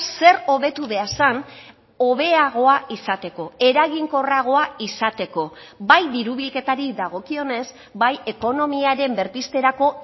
zer hobetu behar zen hobeagoa izateko eraginkorragoa izateko bai diru bilketari dagokionez bai ekonomiaren berpizterako